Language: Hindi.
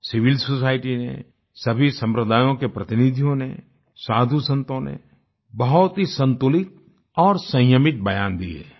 सिविल सोसाइटी ने सभी सम्प्रदायों के प्रतिनिधियों ने साधुसंतों ने बहुत ही संतुलित और संयमित बयान दिए